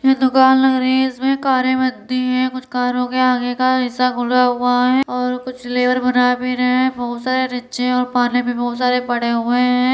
हैं दुकान लग रही है इसमें कारे बंधी है कुछ कार ओ के आगे का हिस्सा खुला हुआ है और कुछ लेबर बना भी रहे है बहोत सारे और पाने भी बहोत सारे पड़े हुए है।